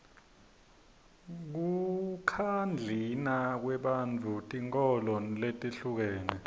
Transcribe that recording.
kukhadlina kwebafundzi tinkholo letihlukene